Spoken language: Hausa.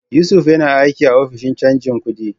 Yusuf yana aiki a Ofishin Canjin Kudi.